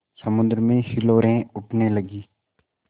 समुद्र में हिलोरें उठने लगीं